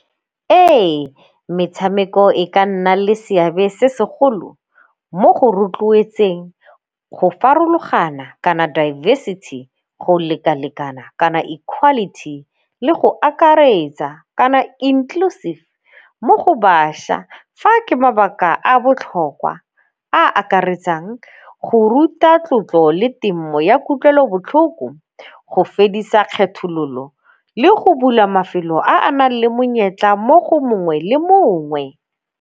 Ee, metshameko e ka nna le seabe se segolo mo go rotloetseng go farologana kana diversity, go leka-lekana kana equality, le go akaretsa kana inclusive mo go bašwa. Fa ke mabaka a a botlhokwa a akaretsang go ruta tlotlo le temo ya kutlwelobotlhoko, go fedisa kgethololo le go bula mafelo a a nang le monyetla mo go mongwe le mongwe.